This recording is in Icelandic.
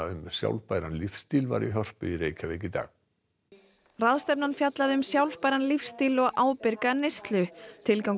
um sjálfbæran lífstíl var í Hörpu í dag ráðstefnan fjallaði um sjálfbæran lífsstíl og ábyrga neyslu tilgangur